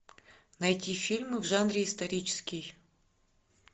найти фильмы в жанре исторический